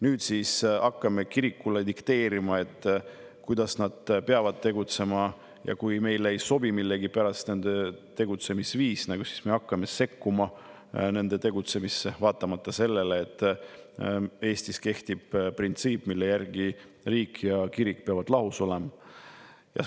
Nüüd me hakkame kirikule dikteerima, kuidas nad peavad tegutsema, ja kui meile millegipärast ei sobi nende tegutsemisviis, siis me hakkame nende tegutsemisse sekkuma, vaatamata sellele, et Eestis kehtib printsiip, mille järgi riik ja kirik peavad olema lahus.